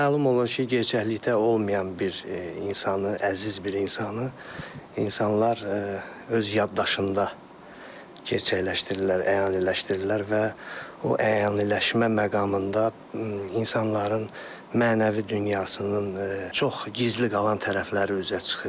Məlum olur ki, gerçəklikdə olmayan bir insanı, əziz bir insanı insanlar öz yaddaşında gerçəkləşdirirlər, əyaniləşdirirlər və o əyaniləşmə məqamında insanların mənəvi dünyasının çox gizli qalan tərəfləri üzə çıxır.